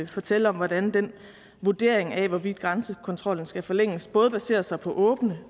fortælle om hvordan den vurdering af hvorvidt grænsekontrollen skal forlænges både baserer sig på åbne